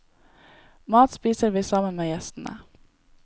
Mat spiser vi sammen med gjestene.